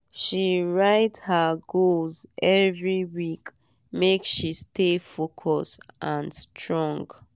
she write her goals every week make she stay focus and strong.